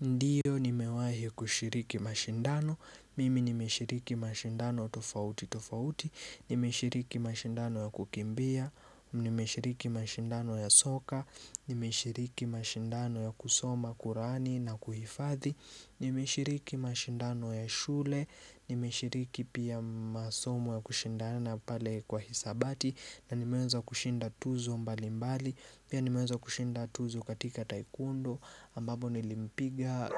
Ndio nimewahi kushiriki mashindano, mimi nimeshiriki mashindano tofauti tofauti, nimeshiriki mashindano ya kukimbia, nimeshiriki mashindano ya soka, nimeshiriki mashindano ya kusoma, kurani na kuhifathi, nimeshiriki mashindano ya shule, nimeshiriki pia masomo ya kushindana na pale kwa hisabati na nimeweza kushinda tuzo mbali mbali Pia nimeweza kushinda tuzo katika taikwondo ambapo nilimpiga